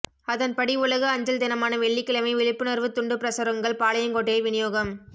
அதன்படி உலக அஞ்சல் தினமான வெள்ளிக்கிழமை விழிப்புணா்வுத் துண்டுப்பிரசுரங்கள் பாளையங்கோட்டையில் விநியோகம்